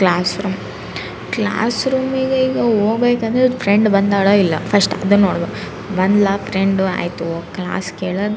class room class ರೂಮಿಗೆ ಇಗ ಓಬೇಕಂದ್ರೆ ಅಂದ್ರೆ ಫ್ರೆಂಡ್ ಬಂದಾಳ ಇಲ್ಲ ಫಸ್ಟ್ ಅದನ್ನೋಡ್ಬೇ ಬಂದ್ಲಾ ಫ್ರೆಂಡ್ ಆಯಿತು ಹೋಕ್ ಕ್ಲಾಸ್ ಕೇಳೋದು --